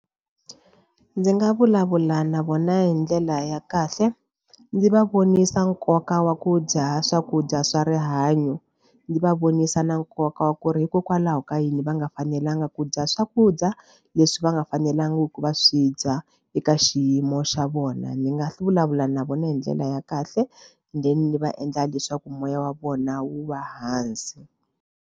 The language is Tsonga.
Ndzi nga vulavula na vona hi ndlela ya kahle ndzi va vonisa nkoka wa ku dya swakudya swa rihanyo ndzi va vonisa na nkoka wa ku ri hikokwalaho ka yini va nga fanelanga ku dya swakudya leswi va nga fanelangi ku va swi dya eka xiyimo xa vona. Ndzi nga vulavula na vona hi ndlela ya kahle then ni va endla leswaku moya wa vona wu va hansi.